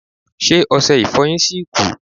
Ṣé ọsẹ Ìfọ̀yín ṣì kù